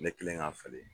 Ne kɛlen k'a falen